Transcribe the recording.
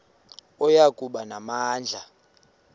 oya kuba namandla